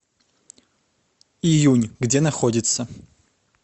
июнь где находится